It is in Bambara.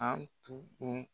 An tugun